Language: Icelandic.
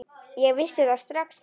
Ég vissi það strax þá.